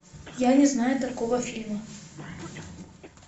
я не знаю такого фильма